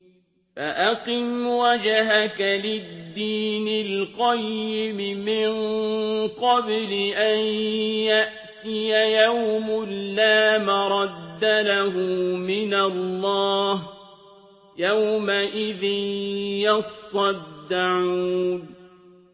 فَأَقِمْ وَجْهَكَ لِلدِّينِ الْقَيِّمِ مِن قَبْلِ أَن يَأْتِيَ يَوْمٌ لَّا مَرَدَّ لَهُ مِنَ اللَّهِ ۖ يَوْمَئِذٍ يَصَّدَّعُونَ